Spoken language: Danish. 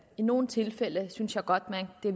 i nogle tilfælde synes jeg godt at det